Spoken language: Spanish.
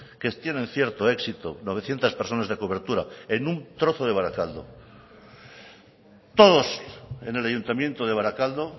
que tienen cierto éxito novecientos personas de cobertura en un trozo de barakaldo todos en el ayuntamiento de barakaldo